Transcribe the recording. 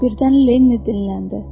Birdən Lenni dinləndi.